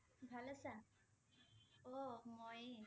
ভাল আছা? অ' ময়ে ।